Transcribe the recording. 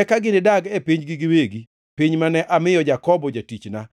Eka ginidag e pinygi giwegi, piny mane amiyo Jakobo jatichna.